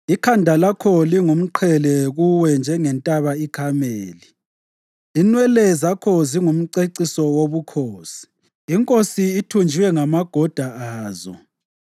Ikhanda lakho lingumqhele kuwe njengentaba iKhameli. Inwele zakho zingumceciso wobukhosi; inkosi ithunjiwe ngamagoda azo.